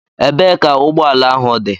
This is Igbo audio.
Ebee ka ụgbọ ala ahụ dị?